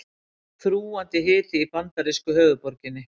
Þrúgandi hiti í bandarísku höfuðborginni